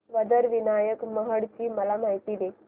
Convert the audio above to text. वरद विनायक महड ची मला माहिती दे